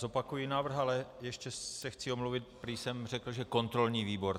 Zopakuji návrh, ale ještě se chci omluvit, prý jsem řekl, že kontrolní výbor.